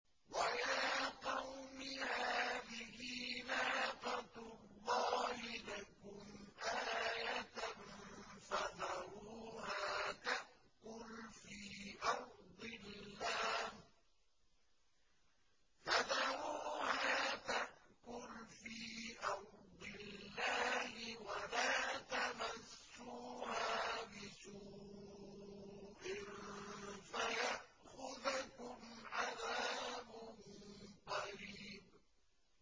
وَيَا قَوْمِ هَٰذِهِ نَاقَةُ اللَّهِ لَكُمْ آيَةً فَذَرُوهَا تَأْكُلْ فِي أَرْضِ اللَّهِ وَلَا تَمَسُّوهَا بِسُوءٍ فَيَأْخُذَكُمْ عَذَابٌ قَرِيبٌ